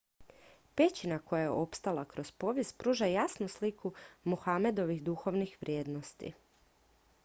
pećina koja je opstala kroz povijest pruža jasnu sliku muhamedovih duhovnih vrijednosti